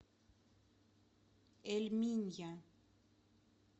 эль минья